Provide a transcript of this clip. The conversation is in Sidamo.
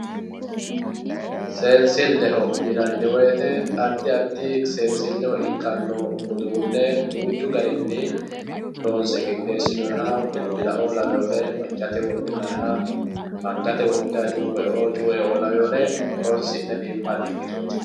Seensileho yinani woyite adi adi sensileho ikkano uduune duuchu garini loonse qixesinoyiha bilbilaoo laweori macate wodhinayiha angate wodhinayi cuuweoo cuueo laweore horonsine biinfani ikitooti.